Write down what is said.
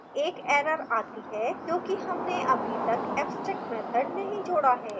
एक error आती है क्योंकि हमने अभी तक abstract मैथड नहीं जोडा है